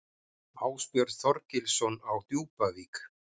Ásbjörn Þorgilsson á Djúpavík